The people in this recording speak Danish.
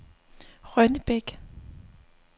Rønnebæk